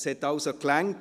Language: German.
Es hat also gereicht.